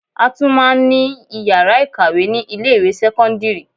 A tún máa ní ìyàrá ìkàwé ni ilé ìwé sẹ́kọ́ńdírì.